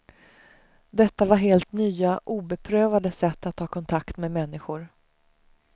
Detta var helt nya, obeprövade sätt att ta kontakt med människor.